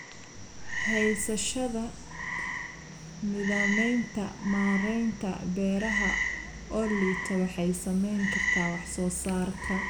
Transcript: Haysashada nidaamyada maaraynta beeraha oo liita waxay saamayn kartaa wax soo saarka.